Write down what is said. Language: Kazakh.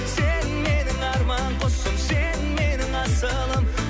сен менің арман құсым сен менің асылым